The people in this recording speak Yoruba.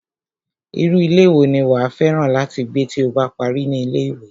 Irú ilé wo ni wàá fẹ́ràn láti gbé tí o bá parí ní ilé-ìwé?